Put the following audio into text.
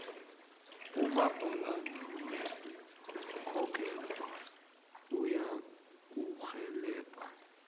umabhalana wekhotho uzakurhelebha